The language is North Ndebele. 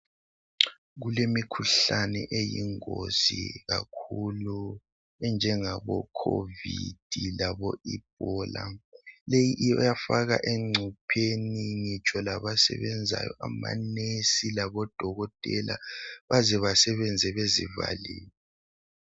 Kulemikhuhlane eyingozi kakhulu enjengabo COVID labo Ebola . Leyi iyafaka engcupheni ngitsho labasebenzayo amanesi labodokotela baze basebenze bezivalile.